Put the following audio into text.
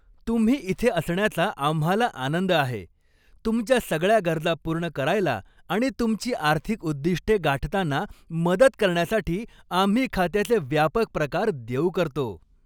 तुम्ही इथे असण्याचा आम्हाला आनंद आहे, तुमच्या सगळ्या गरजा पूर्ण करायला आणि तुमची आर्थिक उद्दिष्टे गाठताना मदत करण्यासाठी आम्ही खात्याचे व्यापक प्रकार देऊ करतो.